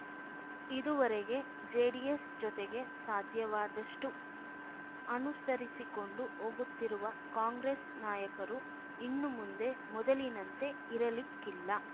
ಇದುವರೆಗೆ ಜೆಡಿಎಸ್‌ ಜೊತೆಗೆ ಸಾಧ್ಯವಾದಷ್ಟುಅನುಸರಿಸಿಕೊಂಡು ಹೋಗುತ್ತಿರುವ ಕಾಂಗ್ರೆಸ್‌ ನಾಯಕರು ಇನ್ನು ಮುಂದೆ ಮೊದಲಿನಂತೆ ಇರಲಿಕ್ಕಿಲ್ಲ